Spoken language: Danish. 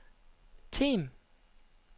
Them